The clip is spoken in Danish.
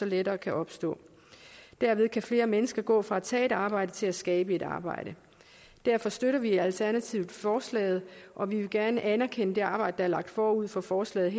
lettere kan opstå derved kan flere mennesker gå fra at tage et arbejde til at skabe et arbejde derfor støtter vi i alternativet forslaget og vi vil gerne anerkende det arbejde der er lagt forud for forslaget